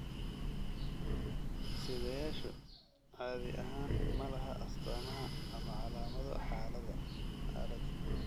Sidayaashu caadi ahaan ma laha astama ama calaamado xaaladda.